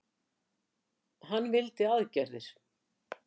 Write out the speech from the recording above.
Hann vildi aðgerðir.